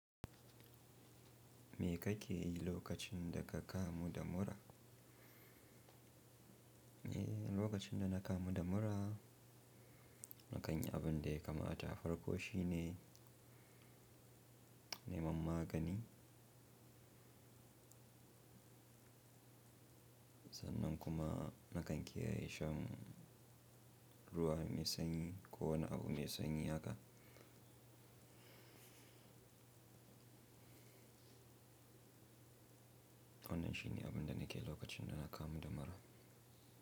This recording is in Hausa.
Me kake yi lokacin da ka kamu da mura? Eh, lokacin da na kamu da mura, na kan yi abun da ya kamats farko shine neman magani. Sannan kuma na kan kiyaye shan ruwa mai sanyi ko wani abu mai sanyi haka. Wannan shine abun da nake yi lokacin da na kamu da mura.